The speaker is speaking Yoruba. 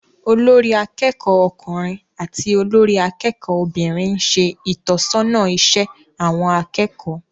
Olórí akẹ́kọ̀ọ́ ọkùnrin àti olórí akẹ́kọ̀ọ́ obìnrin ń ṣe ìtọ́sọ́nà iṣẹ́ àwọn akẹ́kọ̀ọ́